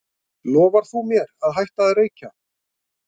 lofar þú mér að hætta að reykja